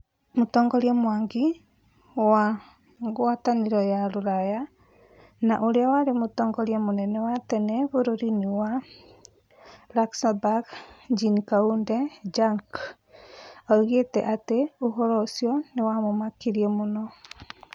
Mũtongoria Mwangi wa ngwatanĩro ya rũraya na ũrĩa warĩ mũtongoria mũnene wa tene bũrũri-inĩ wa Luxembourg Jean-Claude Juncke, oigĩte atĩ ũhoro ũcio nĩ wamũmakirie mũno.